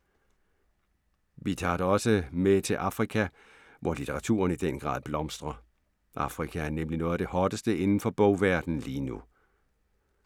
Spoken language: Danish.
Vi tager dig også med til Afrika, hvor litteraturen i den grad blomstrer. Afrika er nemlig noget af det hotteste inden for bogverdenen lige nu.